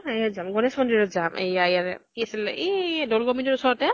এয়াত যাম। গণেশ মন্দিৰত যাম । এইয়া ইয়াৰে, কি আছিল ? এই দৌল গোবিন্দৰ ওচৰতে